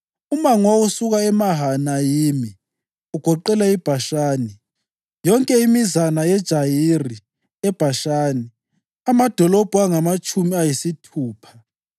Umango owawusuka eMahanayimi ugoqela iBhashani, wonke umbuso ka-Ogi inkosi yaseBhashani, yonke imizana yeJayiri eBhashani, amadolobho angamatshumi ayisithupha,